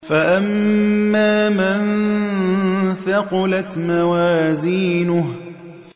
فَأَمَّا مَن ثَقُلَتْ مَوَازِينُهُ